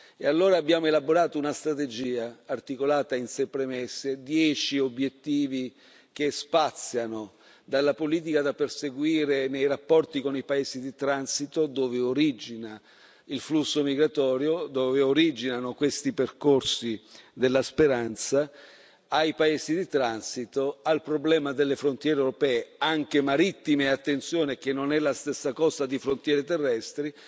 E allora abbiamo elaborato una strategia, articolata in sei premesse, dieci obiettivi che spaziano dalla politica da perseguire nei rapporti con i paesi di transito dove origina il flusso migratorio, dove originano questi percorsi della speranza, ai paesi di transito, al problema delle frontiere europee anche marittime, attenzione, che non è la stessa cosa di frontiere terrestri